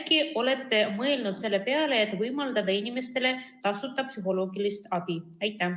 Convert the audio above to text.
Äkki olete mõelnud selle peale, et võimaldada inimestele tasuta psühholoogilist abi?